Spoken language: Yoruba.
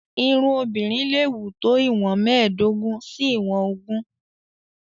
Irun obìnrin leè wù tó ìwọ̀n mẹ́ẹ̀dógún sí ìwọ̀n ogún.